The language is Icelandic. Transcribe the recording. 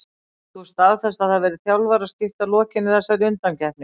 Getur þú staðfest að það verði þjálfaraskipti að lokinni þessari undankeppni?